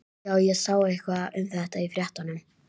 Já, ég sá eitthvað um þetta í fréttunum.